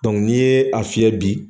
ni ye a fiyɛ bi.